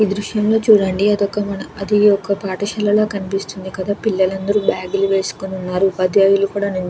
ఈ దృశ్యంలో చూడండి అది ఒక మన అది ఒక పాఠశాలలా కనిపిస్తున్నది. కదా పిల్లలందరూ బ్యాగులు వేసుకొని ఉన్నారు. ఉపాధ్యాయులు కూడ నిల్చుని--